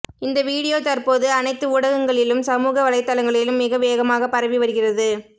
இந்த வீடியோ தற்போது அனைத்து ஊடகங்களிலும் சமூக வலைத்தளங்களிலும் மிக வேகமாக பரவி வருகிறது